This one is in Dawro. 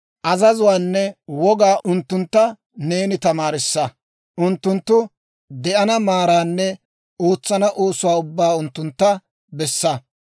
Azazuwaanne wogaa unttuntta neeni tamaarissa; unttunttu de'ana maaraanne ootsana oosuwaa ubbaa unttuntta bessa.